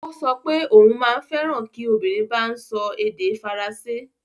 Ó sọ pé òun maa n feran ki obìnrin bá ń sọ èdè Faransé